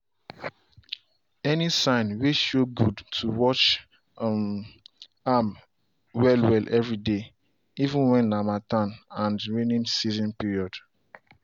any sign way show good to watch um am well well every day even when na harmattan and raining season period.